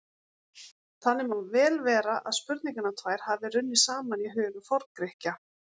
þannig má vel vera að spurningarnar tvær hafi runnið saman í huga forngrikkja